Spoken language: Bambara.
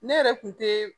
Ne yɛrɛ kun te